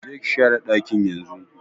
Je ka share dakin yanzun!